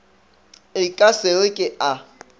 e sa re ke a